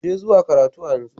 Je zuwa karatu a yanzu!